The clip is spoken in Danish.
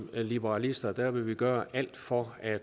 liberalister vil gøre alt for at